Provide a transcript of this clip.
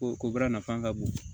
Ko ko baara nafa ka bon